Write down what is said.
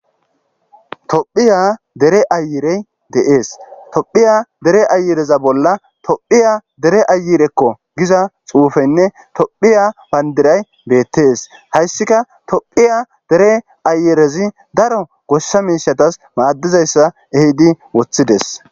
tophiya dere ayirey deees tophiya dere ayireza bolla tophiya dere ayirekko giza xuufenne tophiya bayndiray beettees hayssika tophiya dere ayerezi daro gossa miishatas maaddizayssa ehidi woththides